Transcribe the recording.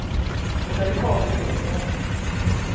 Och när vi kommer gråter hon.